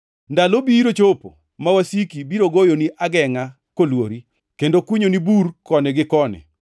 Ndalo biro chopo ma wasiki biro goyoni agengʼa kolwori, kendo kunyoni bur koni gi koni.